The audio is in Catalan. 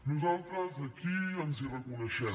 nosaltres aquí ens hi reconeixem